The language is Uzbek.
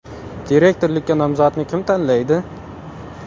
Direktorlikka nomzodni kim tanlaydi?